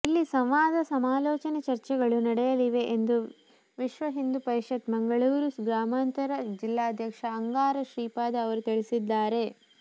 ಇಲ್ಲಿ ಸಂವಾದ ಸಮಾಲೋಚನೆ ಚರ್ಚೆಗಳು ನಡೆಯಲಿವೆ ಎಂದು ವಿಹಿಂಪ ಮಂಗಳೂರು ಗ್ರಾಮಾಂತರ ಜಿಲ್ಲಾಧ್ಯಕ್ಷ ಅಂಗಾರ ಶ್ರೀಪಾದ ಅವರು ತಿಳಿಸಿದ್ದಾರೆ